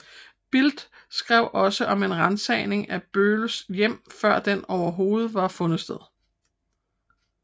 Bild skrev også om en ransagning af Bölls hjem før den overhovedet var fundet sted